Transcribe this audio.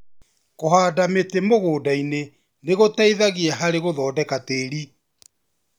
Kũhanda mĩtĩ mũgũnda -inĩ nĩ gũteithagia harĩ gũthondeka tĩĩri.